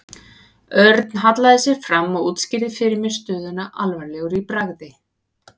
Örn hallaði sér fram og útskýrði fyrir mér stöðuna alvarlegur í bragði.